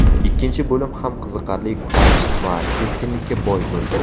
Ikkinchi bo‘lim ham qiziqarli kurash va keskinlikka boy bo‘ldi.